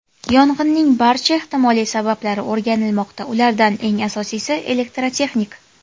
Yong‘inning barcha ehtimoliy sabablari o‘rganilmoqda, ulardan eng asosiysi elektrotexnik.